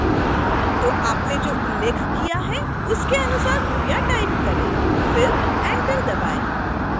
तो आपने जो उल्लेख किया है उसके अनुसार कृपया टाइप करें फिर enter दबाएँ